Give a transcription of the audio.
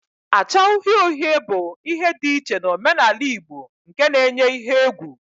acha uhie uhie bu ihe di iche na omenala igbo nke na-enye ihe egwu